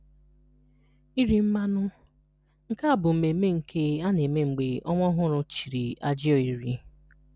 Iri Mmanụ: Nke a bu mmemme nke a na-eme mgbe nwa ọhụrụ chịrị ajiọ iri.